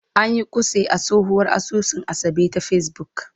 An yi kutse a tsohuwar asusun Asabe ta Facebook.